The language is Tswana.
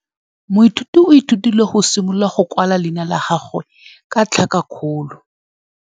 Moithuti o ithutile go simolola go kwala leina la gagwe ka tlhakakgolo.